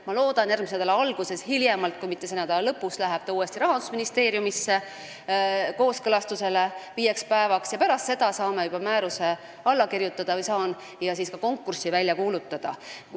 Ma loodan, et hiljemalt järgmise nädala alguses, kui mitte selle nädala lõpus, läheb see uuesti Rahandusministeeriumisse viieks päevaks kooskõlastamisele ja pärast seda saame juba määruse alla kirjutada – või saan mina alla kirjutada – ja ka konkursi välja kuulutada.